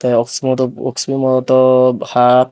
te oksi modop oksi modop hap.